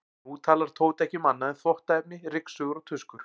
Nú talar Tóti ekki um annað en þvottaefni, ryksugur og tuskur.